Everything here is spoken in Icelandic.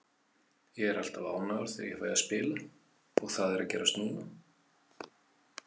Ég er alltaf ánægður þegar ég fæ að spila og það er að gerast núna.